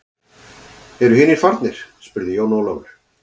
Eru hinir farnir spurði Jón Ólafur.